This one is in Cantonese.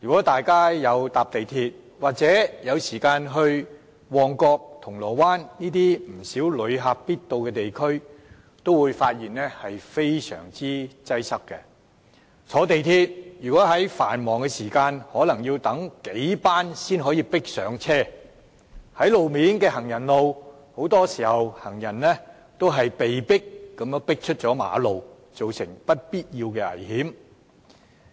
大家乘坐港鐵，或到旺角和銅鑼灣等旅客必到的地區，也會覺得非常擠迫。在繁忙時段乘坐港鐵，可能要等候數班列車才能迫上車；在行人路上，很多時候行人也被迫出馬路，構成危險。